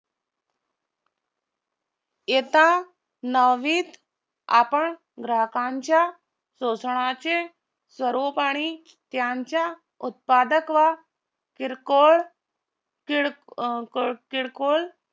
इयत्ता नववीत आपण ग्राहकांच्या शोषणाचे सर्वोपरी त्यांच्या उत्पादक व किरकोळ अं किरकोळ